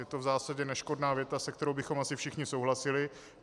Je to v zásadě neškodná věta, se kterou bychom asi všichni souhlasili.